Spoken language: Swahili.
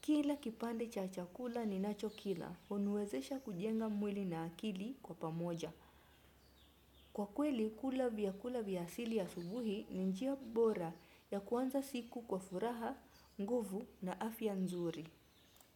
kila kipande cha chakula ninachokila. Huniwezesha kujenga mwili na akili kwa pamoja. Kwa kweli, kula vyakula vya asili asubuhi ni njia bora ya kuanza siku kwa furaha, nguvu na afya nzuri.